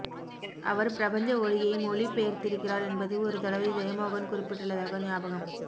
அவர் பிரபஞ்ச ஒலியை மொழி பெயர்த்திருக்கிறார் என்பது ஒரு தடவை ஜெயமோகன் குறிப்பிட்டுள்ளதாக ஞாபகம்